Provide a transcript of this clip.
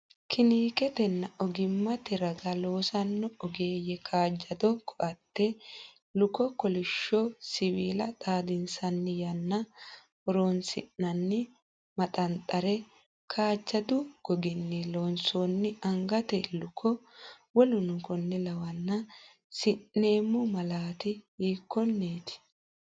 kiniketenna ogimmate raga loossanno ogeeyye kaajjado koatte, luko, kolishsho siwiila xadinsanni yanna horoonsi’nanni maxanxare, kaajjadu goginni loonsoonni angate luko,w, si’neemmo malaati hiikkonneeti?